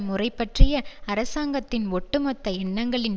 முறை பற்றிய அரசாங்கத்தின் ஒட்டுமொத்த எண்ணங்களின்